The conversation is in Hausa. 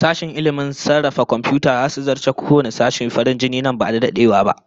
Sashen ilmin sarrafa komfiyuta zasu zarce kowanne sashe farin jini ba da dadewa ba